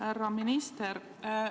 Härra minister!